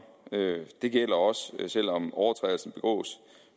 det gælder også selv om overtrædelsen begås